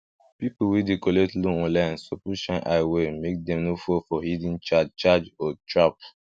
people wey dey collect loan online suppose shine eye well make dem no fall for hidden charge charge or trap